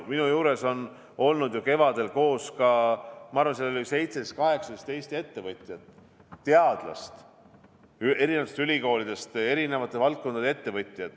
Minu juures olid ju kevadel koos, ma arvan, 17–18 Eesti ettevõtjat eri valdkondadest ja teadlast eri ülikoolidest.